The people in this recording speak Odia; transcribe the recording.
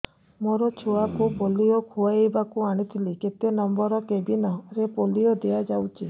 ମୋର ଛୁଆକୁ ପୋଲିଓ ଖୁଆଇବାକୁ ଆଣିଥିଲି କେତେ ନମ୍ବର କେବିନ ରେ ପୋଲିଓ ଦିଆଯାଉଛି